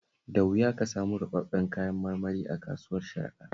Da wuya ka samu ruɓaɓɓun kayan marmari a kasuwar Sharaɗa